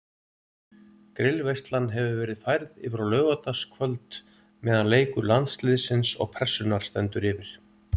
Grillveislan hefur verið færð yfir á laugardagskvöld meðan leikur Landsliðsins og Pressunnar stendur yfir.